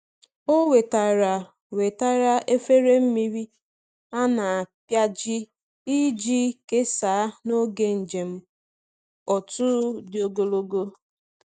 Ọ wetara wetara efere mmiri a na-apịaji iji kesaa n’oge njem otu dị ogologo.